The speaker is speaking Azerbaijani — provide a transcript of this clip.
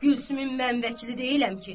Gülsümün mən vəkili deyiləm ki.